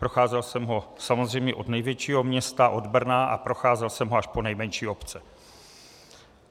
Procházel jsem ho samozřejmě od největšího města, od Brna, a procházel jsem ho až po nejmenší obce.